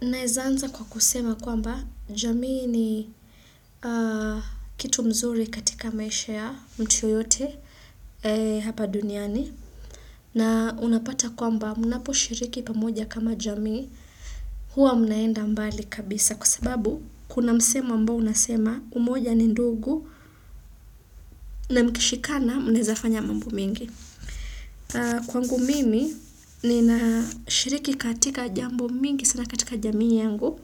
Naeza anza kwa kusema kwamba jamii ni kitu mzuri katika maisha ya mtu yoyote hapa duniani. Na unapata kwamba munapo shiriki pamoja kama jamii huwa mnaenda mbali kabisa. Kwa sababu kuna msemo ambao unasema umoja ni ndugu na mkishikana mnezafanya mambu mingi. Kwangu mimi nina shiriki katika jambo mingi sana katika jamii yangu.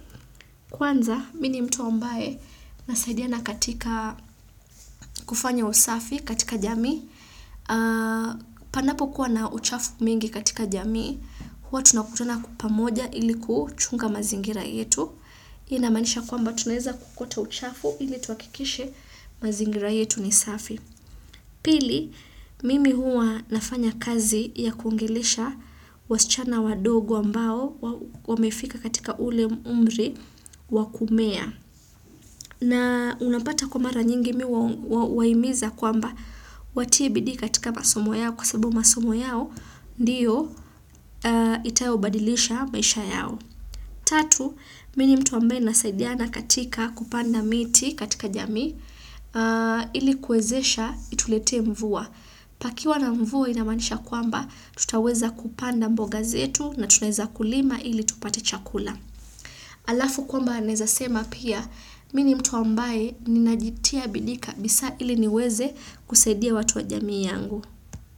Kwanza, mini mtu ambae nasaidia na katika kufanya usafi katika jami, panapo kuwa na uchafu mingi katika jami, huwa tunakutana kwa pamoja ilikuchunga mazingira yetu, inamanisha kwamba tunaeza kukota uchafu ili tuakikishe mazingira yetu ni safi. Pili, mimi huwa nafanya kazi ya kuongelesha wasichana wa dogo ambao wamefika katika ule umri wakumea. Na unapata kwa mara nyingi mi huwaimiza kwamba watibidi katika masomo yao kwa sababu masomo yao ndiyo itayo badilisha maisha yao. Tatu, mini mtu ambe nasaidiana katika kupanda miti katika jamii ilikuwezesha itulete mvua. Pakiwa na mvua inamanisha kwamba tutaweza kupanda mboga zetu na tuneza kulima ili tupate chakula. Alafu kwamba naezasema pia mini mtu ambaye ninajitia bidii kabisa ili niweze kusaidia watu wa jamii yangu.